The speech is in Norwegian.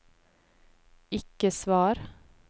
ikke svar